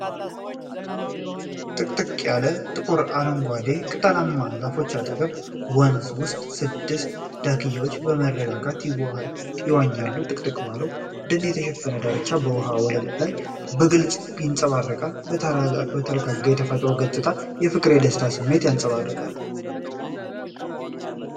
ጥቅጥቅ ያለ ጥቁር አረንጓዴ ቅጠላማ ዛፎች አጠገብ፣ ወንዝ ውስጥ ስድስት ዳክዬዎች በመረጋጋት ይዋኛሉ። ጥቅጥቅ ባለው ደን የተሸፈነው ዳርቻ በውኃው ወለል ላይ በግልጽ ይንጸባረቃል። የተረጋጋው የተፈጥሮ ገጽታ የፍቅርና የደስታ ስሜትን ያንጸባርቃል።